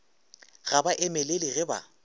ga ba emelele ge ba